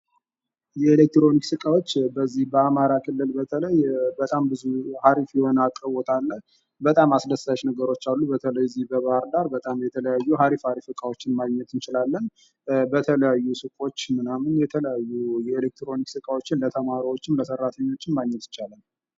የኤሌክትሮኒክስ እቃዎች በዚህ በአማራ ክልል በተለይ በጣም ብዙ አሪፍ የሆነ አቅልቦት አለ። በጣም አስደሳች ነገሮች አሉ ።በተለይ በዚህ በባህርዳር በጣም የተለያዩ አሪፍ አሪፍ እቃዎችን ማግኘት እንችላለን። በተለያዩ ሱቆች ምናምን የተለያዩ የኤሌክትሮኒክስ እቃዎችን ለተማሪዎችም፣ ለሰራተኞችም ማግኘት ይቻላል ።